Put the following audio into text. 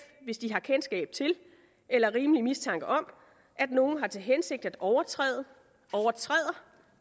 hvis de har kendskab til eller rimelig mistanke om at nogen har til hensigt at overtræde overtræder